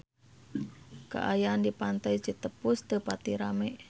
Kaayaan di Pantai Citepus teu pati rame